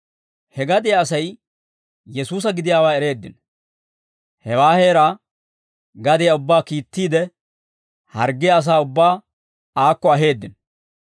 He gadiyaa Asay Yesuusa gidiyaawaa ereeddino; hewaa heeraa gadiyaa ubbaa kiittiide, harggiyaa asaa ubbaa aakko aheeddino.